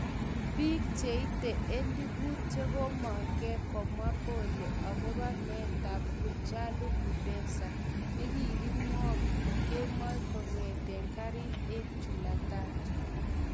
Pik cheite eliput chegomngke komwa pole agope meetap Hachalu Hundessa negikimwok kemoi kogete garit en jumatatu